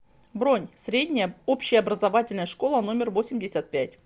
бронь средняя общеобразовательная школа номер восемьдесят пять